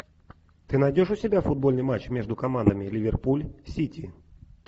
ты найдешь у себя футбольный матч между командами ливерпуль сити